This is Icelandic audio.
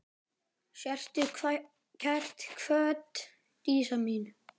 Sértu kært kvödd, Dísa mín.